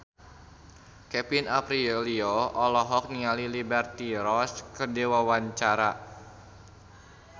Kevin Aprilio olohok ningali Liberty Ross keur diwawancara